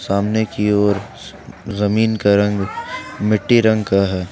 सामने की ओर जमीन का रंग मिट्टी रंग का है।